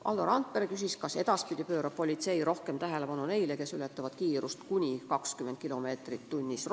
Valdo Randpere küsis, kas edaspidi pöörab politsei rohkem tähelepanu ka neile, kes ületavad kiirust kuni 20 kilomeetrit tunnis.